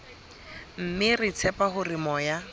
mme re tshepa hore moya